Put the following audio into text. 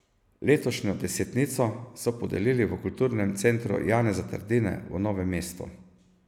Letošnjo desetnico so podelili v Kulturnem centru Janeza Trdine v Novem mestu.